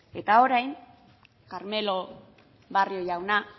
eta orain carmelo barrio jauna